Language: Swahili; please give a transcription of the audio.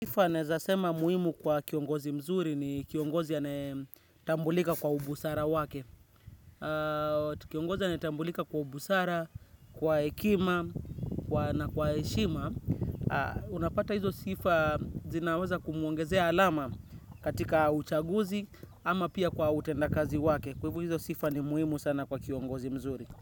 Sifa naweza sema muhimu kwa kiongozi mzuri ni kiongozi anayetambulika kwa ubusara wake. Kiongozi ya anayetambulika kwa ubusara, kwa hekima na kwa heshima. Unapata hizo sifa zinaweza kumuongezea alama katika uchaguzi ama pia kwa utenda kazi wake. Kwa hivo hizo sifa ni muhimu sana kwa kiongozi mzuri.